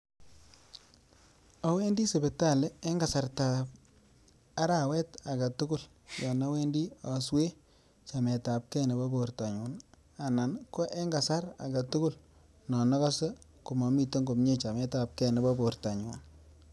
Owendii sipitali en kasartab arawet agetukul yon owendii oswee chametap gee nebo bortonyun anan ko en kasar agetukul non okose komomiten komie chamet ab gee nebo bortonyun.